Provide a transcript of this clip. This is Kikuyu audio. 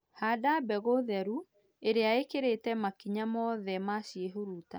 Handa mbegũ theru ĩrĩa ĩkĩrĩte makinya mothe ma ciĩhuruta